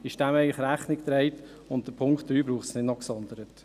Dem ist damit Rechnung getragen, und den Punkt 3 braucht es nicht noch gesondert.